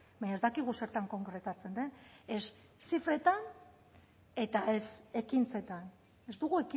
baina ez dakigu zertan konkretatzen den ez zifretan eta ez ekintzetan ez dugu